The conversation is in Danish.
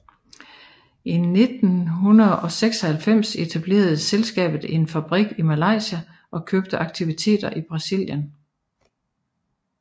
I 1996 etablerede selskabet en fabrik i Malaysia og købte aktiviteter i Brasilien